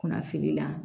Kunnafili la